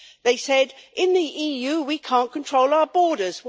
They said In the EU we can't control our borders!'